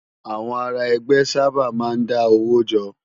Awòn àrá ègbè sàbá má n dá ówó jò